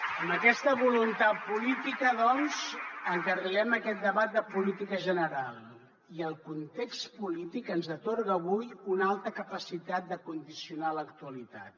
amb aquesta voluntat política doncs encarrilem aquest debat de política general i el context polític ens atorga avui una alta capacitat de condicionar l’actualitat